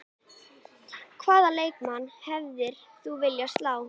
Hvaða leikmann hefðir þú viljað slá?